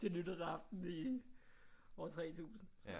Til nytårsaften år 3000